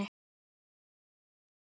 Grand Rokk.